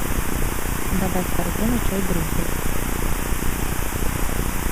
добавь в корзину чай гринфилд